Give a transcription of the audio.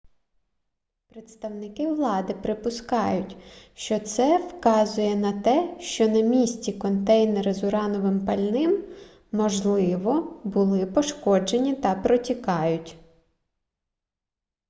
представники влади припускають що це вказує на те що на місці контейнери з урановим пальним можливо були пошкоджені та протікають